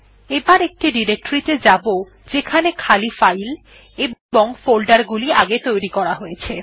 এবার একটি ডিরেকটরি ত়ে যাব যেখানে খালি ফাইল এবং ফোল্ডার গুলি আগে তৈরী করা হয়েছে